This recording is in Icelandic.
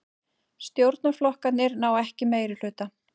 Stjórnarflokkarnir ná ekki meirihluta